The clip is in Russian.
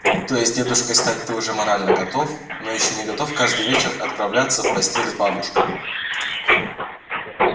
то есть дедушкой стать ты уже морально готов но ещё не готов каждый вечер отправляться в постель с бабушкой